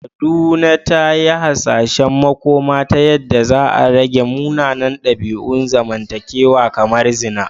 Kaduna ta yi hasashen makoma ta yadda za a rage munanan dabi’un zamantakewa kamar zina.